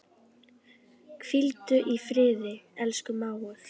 Hvíldu í friði, elsku mágur.